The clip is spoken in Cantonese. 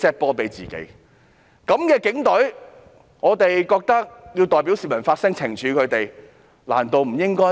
面對這樣的警隊，我們認為有需要代表市民發聲來懲處他們，難道不應該嗎？